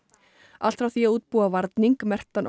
allt frá því að útbúa varning merktan